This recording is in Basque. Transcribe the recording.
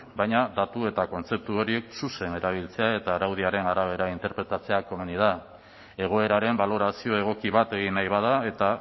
baina datu eta kontzeptu horiek zuzen erabiltzea eta araudiaren arabera interpretatzea komeni da egoeraren balorazio egoki bat egin nahi bada eta